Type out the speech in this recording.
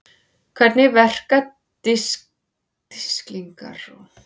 Hvernig verka disklingar og harðir diskar í tölvum?